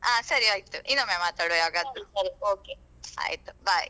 ಆ ಸರಿ ಆಯ್ತು ಇನ್ನೊಮ್ಮೆ ಮಾತಾಡುವ ಯಾವಾಗಾದ್ರೂ.